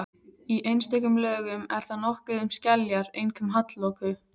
Í einstökum lögum er þar nokkuð um skeljar, einkum hallloku.